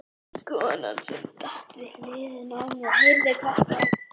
Konan sem sat við hliðina á mér heyrði hvert orð.